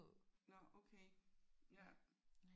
Nåh okay ja